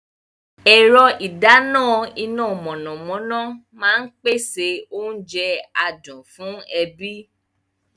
Ẹ̀rọ ìdáná iná mọ̀nàmọ́ná máa ń pèsè oúnjẹ adùn fún ẹbí.